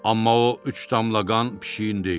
Amma o üç damla qan pişiyin deyil.